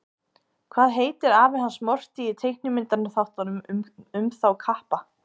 Hvað heitir afi hans Morty í teiknimyndaþáttunum um þá kappa?